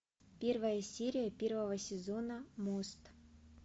первая серия первого сезона мост